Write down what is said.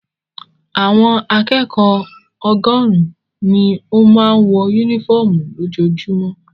Àwọn akẹ́kọ̀ọ́ ọgọ́rùn-ún ni ó máa ń wọ únífọ́ọ́mù lójoojúmọ́.